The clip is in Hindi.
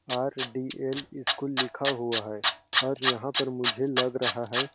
आर.डी.एल. स्कूल लिखा हुआ है और यहाँ पर मुझे लग रहा है।